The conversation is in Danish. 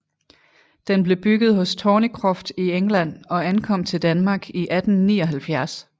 Den blev bygget hos Thornycroft i England og ankom til Danmark i 1879